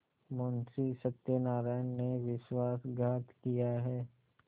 मुंशी सत्यनारायण ने विश्वासघात किया है